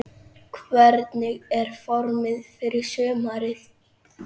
Hvernig er formið fyrir sumarið?